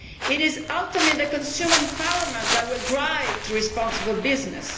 It is ultimately consumer empowerment that will encourage responsible business